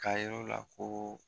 K'a yira o la ko